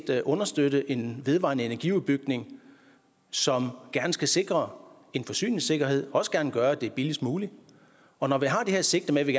understøtte en vedvarende energiudbygning som gerne skal sikre en forsyningssikkerhed og også gerne gøre det er billigst muligt og når vi har det her sigte med at vi